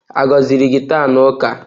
A gọziri gị taa na ụka?